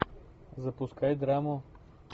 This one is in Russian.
запускай драму